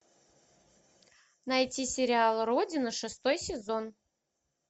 найти сериал родина шестой сезон